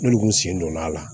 N'olu kun sen donn'a la